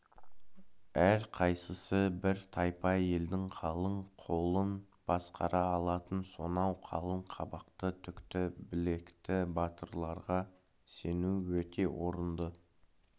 әрқайсысы бір тайпа елдің қалың қолын басқара алатын сонау қалың қабақты түкті білекті батырларға сену өте орынды